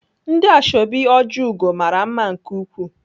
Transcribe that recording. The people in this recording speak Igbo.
Ndị ashọbị Ojiugo mara mma nke ukwuu.